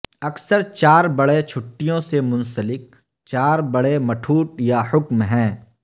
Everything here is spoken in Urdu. اکثر چار بڑے چھٹیوں سے منسلک چار بڑے مٹھوٹ یا حکم ہیں